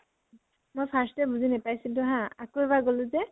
মই first এ বুজি নাপাইছিলো হা, আকৌ এবাৰ গলো যে